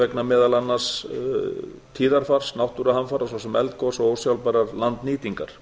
vegna meðal annars vegar tíðarfars náttúruhamfara svo sem eldgosa og ósjálfbærrar landnýtingar